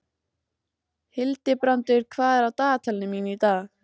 Hildibrandur, hvað er á dagatalinu mínu í dag?